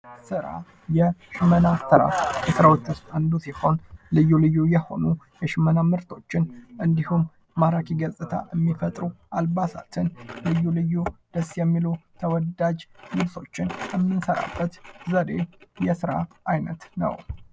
ስራ ፦ የሽመና ስራ ፦ ከስራዎች ውስጥ አንዱ ሲሆን ልዩ ልዩ የሆኑ የሽመና ምርቶችን እንዲሁም ማራኪ ገጽታ የሚፈጥሩ አልባሳትን ፣ ልዩ ልዩ ደስ የሚሉ ተወዳጅ ልብሶችን የምንሰራበት ዘዴ ፤ የስራ አይነት ነው ።